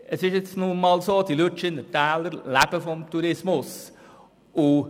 Es ist nun einmal so, dass die Lütschinentäler vom Tourismus leben.